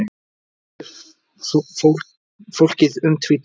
Allt er fólkið um tvítugt